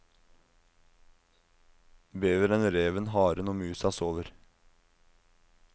Beveren, reven, haren og musa sover.